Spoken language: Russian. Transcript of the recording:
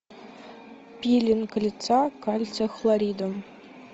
пилинг лица кальция хлоридом